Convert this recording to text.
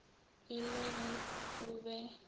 e le ge o be